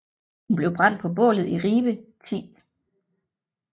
Hun blev brændt på bålet i Ribe 10